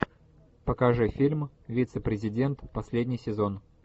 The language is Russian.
покажи фильм вице президент последний сезон